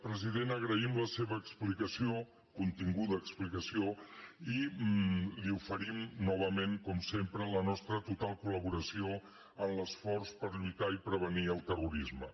president agraïm la seva explicació continguda explicació i li oferim novament com sempre la nostra total col·tar i prevenir el terrorisme